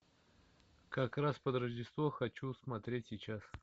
как раз под рождество хочу смотреть сейчас